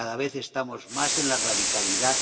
Cada vez estamos más en la radicalidad.